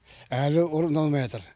әлі орындалмайатыр